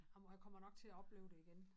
Ej mor jeg kommer nok til at opleve det igen